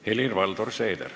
Helir-Valdor Seeder.